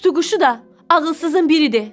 Tutuquşu da ağılsızın biridir.